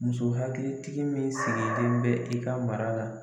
Muso hakilitigi min sigilen bɛ i ka mara la